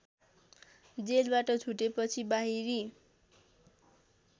जेलबाट छुटेपछि बाहिरी